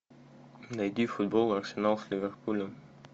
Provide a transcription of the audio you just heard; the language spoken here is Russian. найди футбол арсенал с ливерпулем